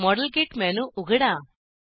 model kit menu उघडा